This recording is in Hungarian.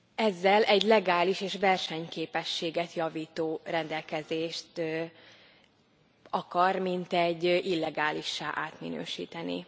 Ezzel egy legális és versenyképességet javító rendelkezést akar mintegy illegálissá átminősíteni.